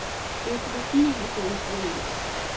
Økologien er gået i blodet.